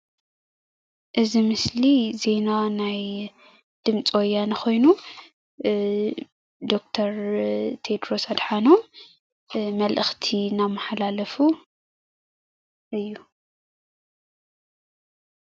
እዚ ምስሊ ዜና ናይ ድምፂ ወያነ ኮይኑ ዶክተር ቴድሮስ ኣድሕኖም መልእክቲ እንዳማሕላለፉ እዩ።